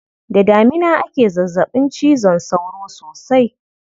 Da damina ake zazzaɓin cizon sauro sosai.